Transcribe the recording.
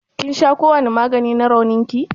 ƙin sha kowani magani na raunin ki?